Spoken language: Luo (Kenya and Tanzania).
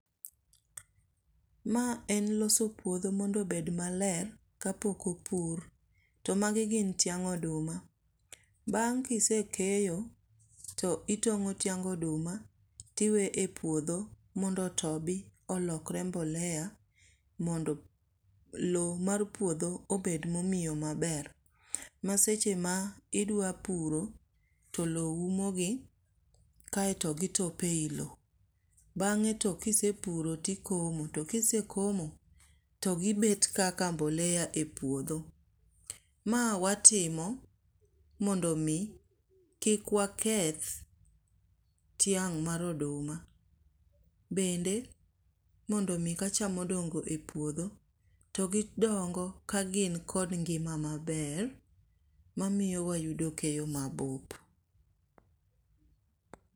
Ma en loso puodho mondo obed maler ka pok opur. To magi gin tiang' oduma. Bang' kisekeyo, to itongó tiang oduma to iwe e puodho mondo otobi, olokore mbolea mondo lowo mar puodho ober momiyo maber. Ma seche ma idwa puro, to lowo umo gi, kaeto gi top ei lowo. Bang''e to kisepuro to ikomo. To kisekomo, to giber kaka mbolea e puodho. Ma watimo, mondo omi, kik waketh tiang' mar oduma. Bende mondo omi ka cham odongo e puodho, to gidongo ka gin kod ngima maber, ma miyo wayudo keyo mabup.